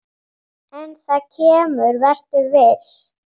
En það kemur, vertu viss.